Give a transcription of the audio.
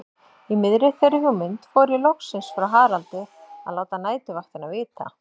Í miðri þeirri hugmynd fór ég loksins frá Haraldi að láta næturvaktina vita.